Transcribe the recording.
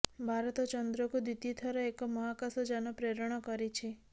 ଭାରତ ଚନ୍ଦ୍ରକୁ ଦ୍ୱିତୀୟ ଥର ଏକ ମହାକାଶ ଯାନ ପ୍ରେରଣ କରିଛି